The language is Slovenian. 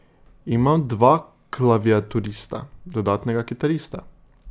Imam dva klaviaturista, dodatnega kitarista.